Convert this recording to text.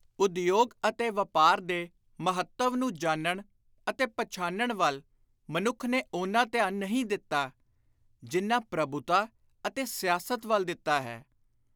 ਉਦਯੋਗ ਅਤੇ ਵਾਪਾਰ ਦੇ ਮਹੱਤਵ ਨੂੰ ਜਾਣਨ ਅਤੇ ਪਛਾਣਨ ਵੱਲ ਮਨੁੱਖ ਨੇ ਓਨਾ ਧਿਆਨ ਨਹੀਂ ਦਿੱਤਾ, ਜਿੰਨਾ ਪ੍ਰਭੁਤਾ ਅਤੇ ਸਿਆਸਤ ਵੱਲ ਦਿੱਤਾ ਹੈ।